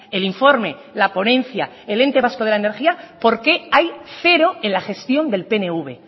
el informe la ponencia el ente vasco de la energía por qué hay cero en la gestión del pnv